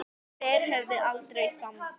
En þeir höfðu aldrei samband